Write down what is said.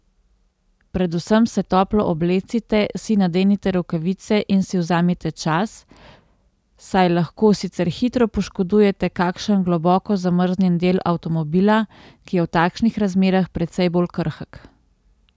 Predvsem se toplo oblecite, si nadenite rokavice in si vzemite čas, saj lahko sicer hitro poškodujete kakšen globoko zamrznjen del avtomobila, ki je v takšnih razmerah precej bolj krhek.